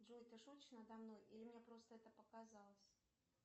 джой ты шутишь надо мной или мне просто это показалось